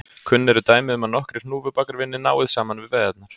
Kunn eru dæmi um að nokkrir hnúfubakar vinni náið saman við veiðarnar.